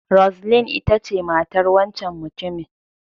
Roseline ita ce matar wancan mutumin.